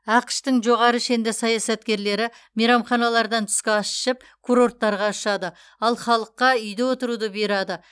ақш тың жоғары шенді саясаткерлері мейрамханалардан түскі ас ішіп курорттарға ұшады ал халыққа үйде отыруды бұйырады